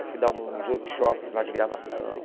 Eu fui dar uns workshops lá de gravação.